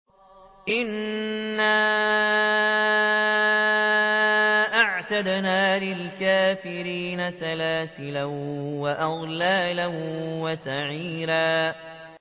إِنَّا أَعْتَدْنَا لِلْكَافِرِينَ سَلَاسِلَ وَأَغْلَالًا وَسَعِيرًا